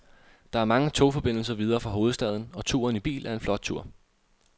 Der er mange togforbindelser videre fra hovedstaden, og turen i bil er en flot tur.